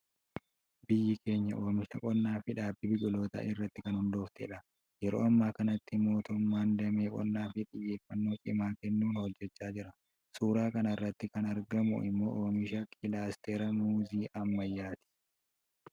Biyyi keenya oomisha qonnaa fi dhaabbii biqilootaa irratti kan hundooftedha. Yeroo amma kanatti mootummaan damee qonnaaf xiyyeeffannoo cimaa kennuun hojjechaa jira. Suuraa kanarratti kan argamu immoo oomishaa kilaastera Muuzii ammayyaati.